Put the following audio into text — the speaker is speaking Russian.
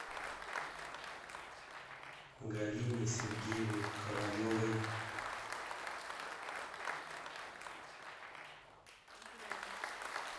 галине сергеевне ковалевой